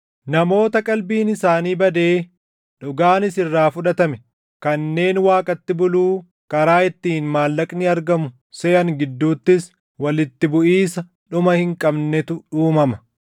namoota qalbiin isaanii badee dhugaanis irraa fudhatame kanneen Waaqatti buluu karaa ittiin maallaqni argamu seʼan gidduuttis walitti buʼiisa dhuma hin qabnetu uumama.